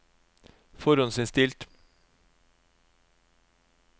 forhåndsinnstilt